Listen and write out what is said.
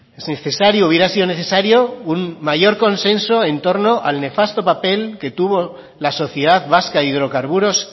es necesario hubiera sido necesario un mayor consenso en torno al nefasto papel que tuvo la sociedad vasca hidrocarburos